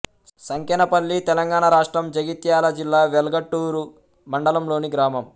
సంకెనపల్లి తెలంగాణ రాష్ట్రం జగిత్యాల జిల్లా వెల్గటూర్ మండలంలోని గ్రామం